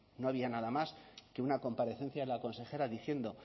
no había nada más que una comparecencia de la consejera diciendo